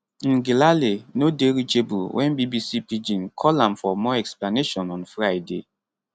ngelale no dey reachable wen bbc pidgin call am for more explanation on friday